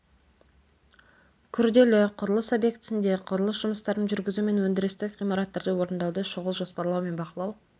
күрделі құрылыс объектісінде құрылыс жұмыстарын жүргізу мен өндірістік ғимараттарды орындауды шұғыл жоспарлау мен бақылау